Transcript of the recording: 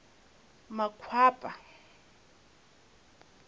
makwapa